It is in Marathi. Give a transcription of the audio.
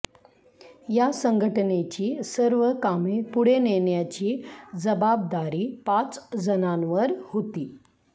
या संघटनेची सर्व कामे पुढे नेण्याची जबाबदारी पाच जणांवर होती